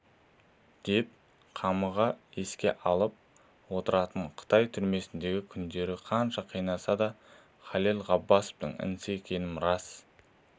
деп қамыға еске алып отыратын қытай түрмесіндегі күндерін қанша қинаса да халел ғаббасовтың інісі екенім рас